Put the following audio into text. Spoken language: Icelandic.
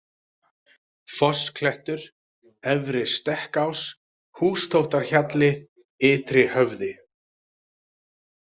Fossklettur, Efri-Stekkás, Hústóttarhjalli, Ytrihöfði